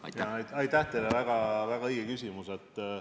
Aitäh teile, väga õige küsimus!